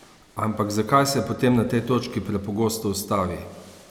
Ampak zakaj se potem na tej točki prepogosto ustavi?